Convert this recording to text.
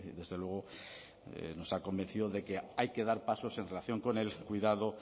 desde luego nos ha convencido de que hay que dar pasos en relación con el cuidado